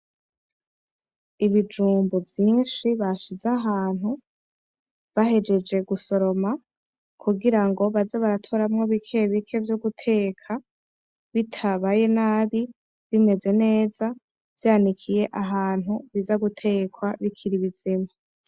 Ibijumbu vyinshi bashize ahantu bahejeje gusoroma kugirango baje barakuramwo bimwe vyo guteka bitabaye nabi, bimeze neza vyanikiye ahantu biza gutekwa bikiri bizima.